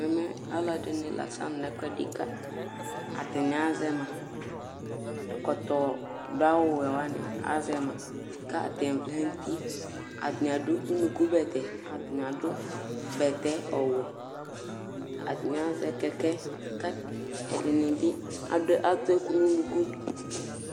Ɛmɛ alʋ ɛdɩnɩ la asanʋ nʋ ɛkʋɛdɩ kʋ atanɩ aɣa azɛ ma Ɛkɔtɔ dʋ awʋwɛ wanɩ azɛ ma kʋ atanɩ vlɛ nʋ uti Atanɩ adʋ unukubɛtɛ Atanɩ adʋ bɛtɛ ɔwɛ Atanɩ azɛ kɛkɛ kʋ ɛdɩnɩ bɩ atʋ ɛkʋ nʋ unuku